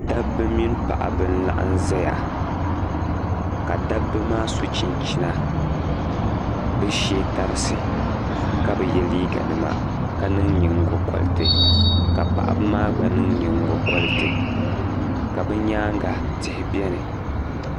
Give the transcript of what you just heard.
Dabba mini paɣaba n-laɣim zaya ka dabba maa so chinchina bɛ shee tarisi ka bɛ yɛ liiganima ka niŋ ningo koriti ka paɣaba maa gba niŋ ningo koriti ka bɛ nyaaŋa tihi bɛni